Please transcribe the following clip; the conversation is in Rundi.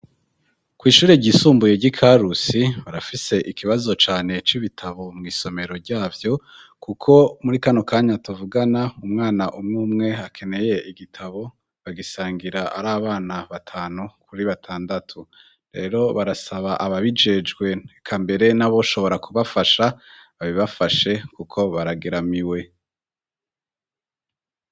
Kw'ishure ryisumbuye ry'i Karusi, barafise ikibazo cane c'ibitabo mw'isomero ryavyo, kuko muri kano kanya tuvugana, umwana umwe umwe akeneye igitabo, bagisangira ari abana batanu kuri batandatu, rero barasaba ababijejwe eka mbere n'aboshobora kubafasha, babibafashe kuko baragiramiwe.